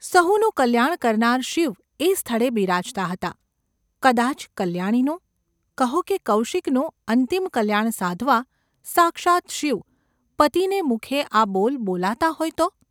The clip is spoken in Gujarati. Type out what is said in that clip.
સહુનું કલ્યાણ કરનાર શિવ એ સ્થળે બિરાજતા હતા, કદાચ કલ્યાણીનું – કહો કે કૌશિકનું અંતિમ કલ્યાણ સાધવા સાક્ષાત શિવ પતિને મુખે આ બોલ બોલાતા હોય તો ?